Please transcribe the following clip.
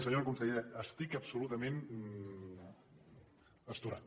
senyora consellera estic absolutament astorat